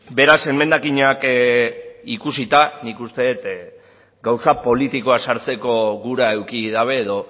beraz emendakinak ikusita nik uste dut gauza politikoa sartzeko gura eduki dabe edo